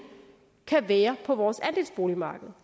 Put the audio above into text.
kan være på vores andelsboligmarked